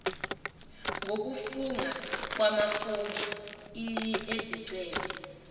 ngokufunga kumafomu ezicelo